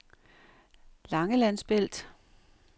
Langelandsbælt